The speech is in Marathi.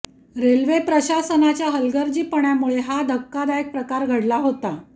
रेल्वे प्रशासनाच्या हलगर्जीपणामुळे हा धक्कादायक प्रकार घडला होता